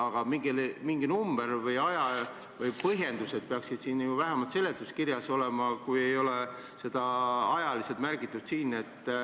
Aga mingi number või põhjendused peaksid ju vähemalt seletuskirjas olema, kui ei ole seda ajaliselt märgitud siin.